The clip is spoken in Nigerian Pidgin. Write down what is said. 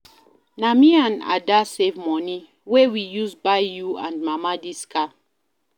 Na me and Ada save money wey we use buy you and mama dis car